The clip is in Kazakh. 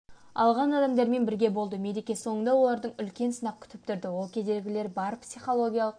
алған адамдармен бірге болды мереке соңында оларды үлкен сынақ күтіп тұрды ол кедергілері бар психологиялық